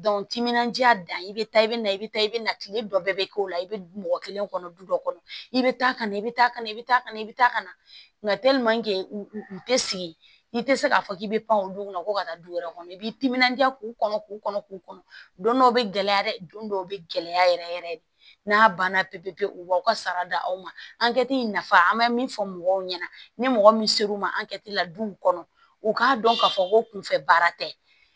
timinandiya dan i bɛ taa i bɛ na i bɛ taa i bɛ na kile dɔ bɛɛ bɛ k'o la i bɛ mɔgɔ kelen kɔnɔ du dɔ kɔnɔ i bɛ taa ka na i bɛ taa kana i bɛ taa ka na i bɛ taa ka na u tɛ sigi i tɛ se k'a fɔ k'i bɛ pan o dun kɔnɔ ko ka taa du wɛrɛ kɔnɔ i b'i timinandiya k'u kɔnɔ k'u kɔnɔ k'u kɔnɔ don dɔw bɛ gɛlɛya dɛ don dɔw bɛ gɛlɛya yɛrɛ yɛrɛ de n'a banna pepe u b'aw ka sara da aw ma ankɛti nafa an mɛ min fɔ mɔgɔw ɲɛna ni mɔgɔ min ser'u ma la duw kɔnɔ u k'a dɔn k'a fɔ ko kunfɛ baara tɛ